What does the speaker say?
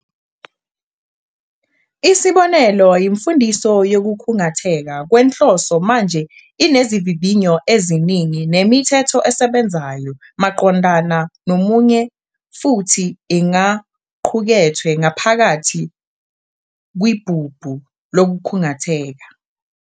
Isibonelo, imfundiso yokukhungatheka kwenhloso manje inezivivinyo eziningi nemithetho esebenzayo maqondana nomunye futhi ingaqukethwe ngaphakathi "kwibhubhu" lokukhungatheka.